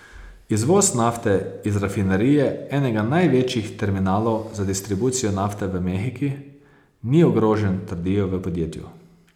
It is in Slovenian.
Izvoz nafte iz rafinerije, enega največjih terminalov za distribucijo nafte v mehiki, ni ogrožen, trdijo v podjetju.